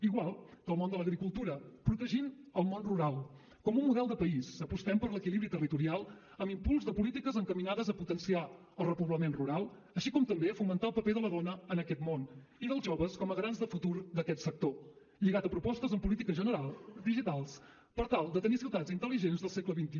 igual que el món de l’agricultura protegint el món rural com un model de país apostem per l’equilibri territorial amb impuls de polítiques encaminades a potenciar el repoblament rural així com també a fomentar el paper de la dona en aquest món i dels joves com a garants de futur d’aquest sector lligat a propostes en política general digitals per tal de tenir ciutats intel·ligents del segle xxi